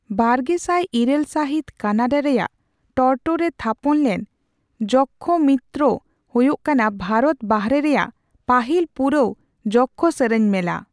ᱵᱟᱨᱜᱮᱥᱟᱭ ᱤᱨᱟᱹᱞ ᱥᱟᱹᱦᱤᱛ ᱠᱟᱱᱟᱰᱟ ᱨᱮᱭᱟᱜ ᱴᱚᱨᱚᱴᱳ ᱨᱮ ᱛᱷᱟᱯᱚᱱᱞᱮᱱ ᱡᱚᱠᱠᱷᱚᱢᱤᱛᱛᱨᱚ ᱦᱳᱭᱳᱜ ᱠᱟᱱᱟ ᱵᱷᱟᱨᱚᱛ ᱵᱟᱦᱨᱮ ᱨᱮᱭᱟᱜ ᱯᱟᱹᱦᱤᱞ ᱯᱩᱨᱟᱣ ᱡᱚᱠᱠᱷᱚ ᱥᱮᱨᱮᱧ ᱢᱮᱞᱟ ᱾